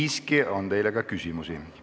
Siiski on teile ka küsimusi.